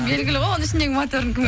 белгілі ғой оның ішіндегі моторын кім